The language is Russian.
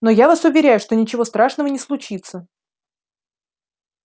но я вас уверяю что ничего страшного не случится